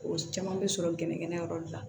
O caman bɛ sɔrɔ gɛnɛgɛnɛ yɔrɔ la